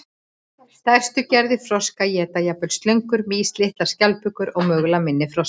Stærstu gerðir froska éta jafnvel slöngur, mýs, litlar skjaldbökur og mögulega minni froska.